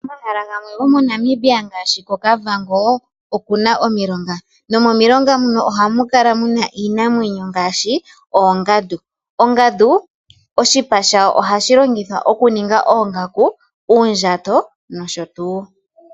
Momahala gamwe goNamibia ngaashi koKavango, okuna omilonga. Momilonga muno ohamukala muna iinamwenyo ngaashi, oongandu. Ongandu, oshipa shayo ohashi longithwa okuninga oongaku, uundjato, nosho tuu.